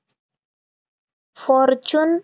fortune